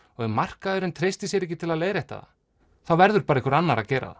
ef markaðurinn treystir sér ekki til að leiðrétta það þá verður bara einhver annar að gera